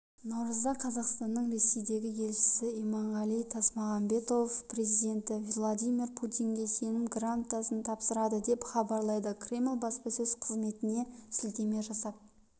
наурызда қазақстанның ресейдегі елшісі иманғали тасмағамбетов президенті владимир путинге сенім грамотасын тапсырады деп хабарлайды кремль баспасөз қызметіне сілтеме жасап